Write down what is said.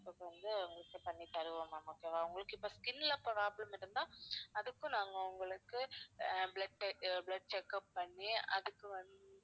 வந்து உங்களுக்கு பண்ணி தருவோம் ma'am okay வா உங்களுக்கு இப்போ skin ல problem இருந்தா அதுக்கும் நாங்க உங்களுக்கு ah blood ah blood check up பண்ணி அதுக்கு வந்து